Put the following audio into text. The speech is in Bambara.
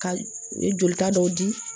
Ka u ye jolita dɔ di